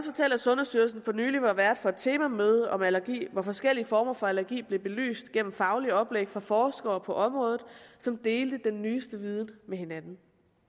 sundhedsstyrelsen for nylig var vært for et temamøde om allergi hvor forskellige former for allergi blev belyst gennem faglige oplæg fra forskere på området som delte den nyeste viden med hinanden